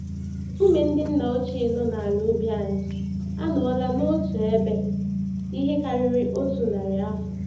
Nkume ndị nna ochie nọ n'ala ubi anyị, anọọla n'otu ebe ihe karịrị otu narị afọ.